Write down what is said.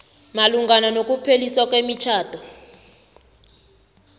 malungana nokupheliswa kwemitjhado